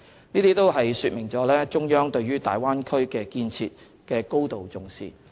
這都說明了中央對大灣區建設的高度重視。